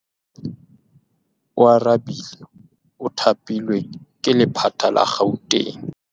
Oarabile o thapilwe ke lephata la Gauteng.